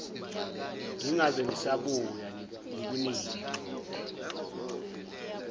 ngingabe ngisabuya ngikunikile